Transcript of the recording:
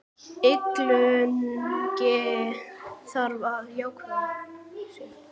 Illugi þarf að ákveða sig.